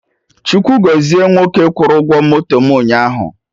Chukwu gọzie nwoke kwụrụ ụgwọ moto mụ ụnyaahụ